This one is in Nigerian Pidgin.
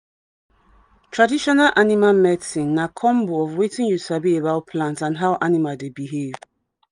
traditional animal medicine na combo of wetin you sabi about plant and how animal dey behave.